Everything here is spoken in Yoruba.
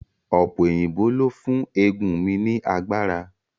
Ọ̀pẹ òyìnbó ló fún eegun mi ní agbára